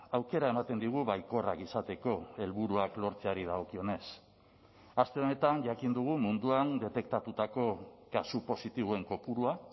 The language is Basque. aukera ematen digu baikorrak izateko helburuak lortzeari dagokionez aste honetan jakin dugu munduan detektatutako kasu positiboen kopurua